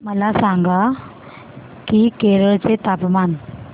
मला सांगा की केरळ चे तापमान